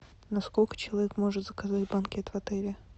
на сколько человек можно заказать банкет в отеле